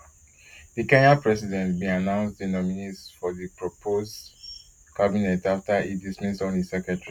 di kenyan president bin announce di nominees for di proposed cabinet afta e dismiss all im secretaries